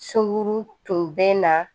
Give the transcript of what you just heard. Sunguru tun bɛ na